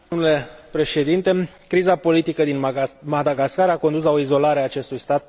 Criza politică din Madagascar a condus la o izolare a acestui stat pe scena internațională.